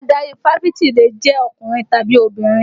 Adarí Fáfitì lè jẹ́ ọkùnrin tàbí obìnrin